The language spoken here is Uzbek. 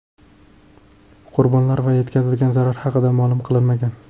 Qurbonlar va yetkazilgan zarar haqida ma’lum qilinmagan.